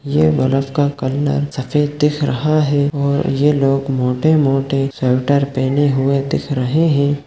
ये बर्फ का कलर सफ़ेद दिख रहा है और ये लोग मोटे-मोटे स्वेटर पहने हुए दिख रहे है।